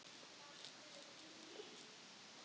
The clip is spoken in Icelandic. Og það tókst líka ágæta vel.